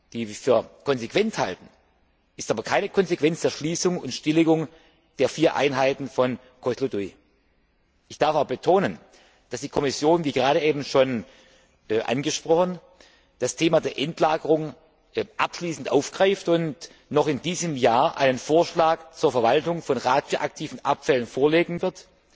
die wir für konsequent halten, ist aber keine Konsequenz der Schließung und Stilllegung der vier Einheiten von Kozloduj. Ich darf aber betonen, dass die Kommission wie gerade eben schon angesprochen das Thema der Endlagerung abschließend aufgreift und noch in diesem Jahr einen Vorschlag zur Verwaltung von radioaktiven Abfällen vorlegen